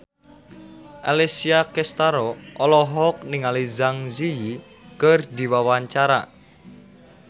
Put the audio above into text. Alessia Cestaro olohok ningali Zang Zi Yi keur diwawancara